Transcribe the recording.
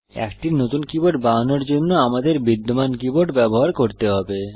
একটি নতুন কীবোর্ড বানানোর জন্য আমাদের বিদ্যমান কীবোর্ড ব্যবহার করতে হবে